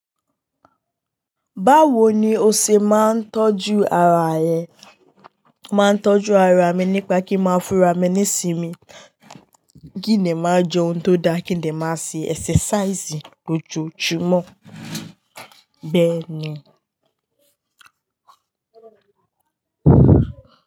Báwo ni ó se má ń tọ́jú ara rẹ? Máa ń tọ́jú ara mi nípa kí ń máa fún ara mi ní sinmi, kí ni màá jẹ ohun tó da, kí ni màá ṣe exercise ní ojoojúmọ́ bẹ́ẹ̀ ni.